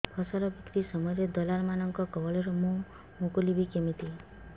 ଫସଲ ବିକ୍ରୀ ସମୟରେ ଦଲାଲ୍ ମାନଙ୍କ କବଳରୁ ମୁଁ ମୁକୁଳିଵି କେମିତି